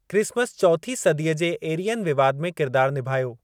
Christmas चौथीं सदीअ जे एरियन विवादु में किरदार निभायो।